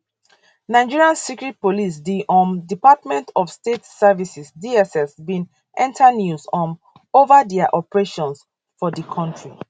nigeria secret police di um department of state services dss bin enta news um over dia operations for di kontri